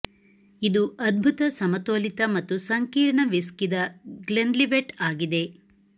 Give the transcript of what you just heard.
ಇದು ಅದ್ಭುತ ಸಮತೋಲಿತ ಮತ್ತು ಸಂಕೀರ್ಣ ವಿಸ್ಕಿ ದ ಗ್ಲೆನ್ಲಿವೆಟ್ ಆಗಿದೆ